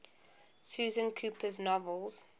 susan cooper's novels